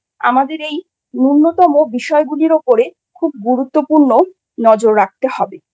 আমাদের এই ন্যূনতম বিষয়গুলির উপরে খুব গুরুত্বপূর্ণ নজর রাখতে হবে।